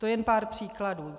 To je jen pár příkladů.